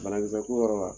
Banakisɛ ko yɔrɔ la